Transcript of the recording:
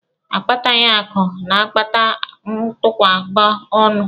Akpataghị akụ na-akpata ntụkwụba ọnụ!